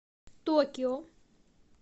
токио